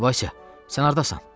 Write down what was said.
Vasya, sən hardasan?